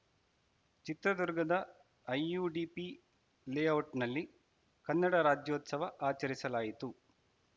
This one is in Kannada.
ಚಿತ್ರದುರ್ಗದ ಐಯುಡಿಪಿ ಲೇ ಔಟ್‌ನಲ್ಲಿ ಕನ್ನಡ ರಾಜ್ಯೋತ್ಸವ ಆಚರಿಸಲಾಯಿತು